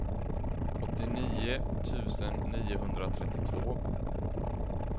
åttionio tusen niohundratrettiotvå